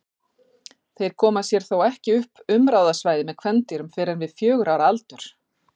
Þeir koma sér þó ekki upp umráðasvæði með kvendýrum fyrr en við fjögurra ára aldur.